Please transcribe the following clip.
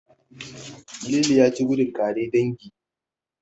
Lili ya ci gudun ƙare dangi.